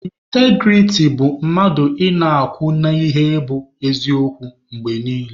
Ịntagirity bụ mmadụ ị na-akwụ n'ihe bụ eziokwu mgbe niile.